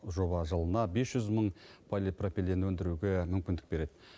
жоба жылына бес жүз мың полипропилен өндіруге мүмкіндік береді